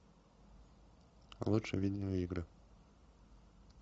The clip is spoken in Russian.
лучшие видеоигры